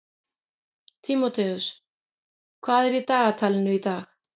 Tímóteus, hvað er í dagatalinu í dag?